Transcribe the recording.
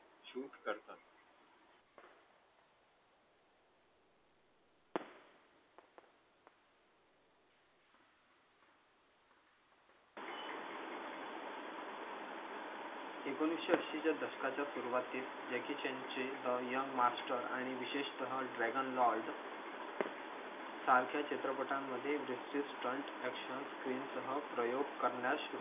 एकोणीसशे ऐशीच्या दशकाच्या सुरुवातीस चान चे बाय यंग मास्टर आणि विशिष्टत्वाने ड्रॅगन लॉर्ड सारख्या चित्रपटांमध्ये स्टंट आकशन स्क्रीन सह प्रयोग करण्यास